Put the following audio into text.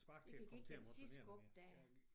Det kan give et sidste skub der